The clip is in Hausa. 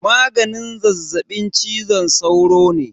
Maganin zazzaɓin cizon sauro ne.